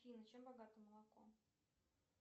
афина чем богато молоко